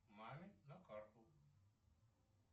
маме на карту